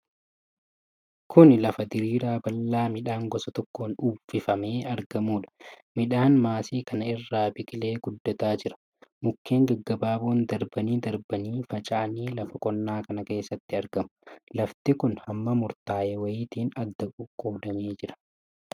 Kuni lafa diriiraa bal'aa midhaan gosa tokkoon uffifamee argamuudha. Midhaan maasii kana irra biqilee guddataa jira. mukkeen gaggabaaboon darbanii darbanii faca'anii lafa qonnaa kana keessatti argamu. Lafti kun hamma murtaa'e wayiitiin adda qoqqodamee jira.